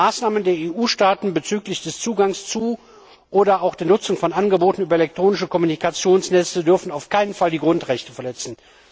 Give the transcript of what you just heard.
Maßnahmen der EU Staaten bezüglich des Zugangs zu oder auch der Nutzung von Angeboten über elektronische Kommunikationsnetze dürfen auf keinen Fall die Grundrechte verletzen.